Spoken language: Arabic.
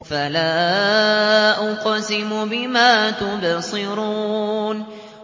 فَلَا أُقْسِمُ بِمَا تُبْصِرُونَ